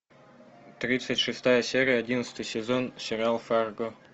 тридцать шестая серия одиннадцатый сезон сериал фарго